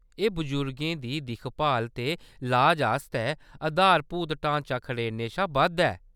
एह्‌‌ बजुर्गें दी दिक्ख-भाल ते लाज आस्तै आधारभूत ढांचा खड़ेरने शा बद्ध ऐ।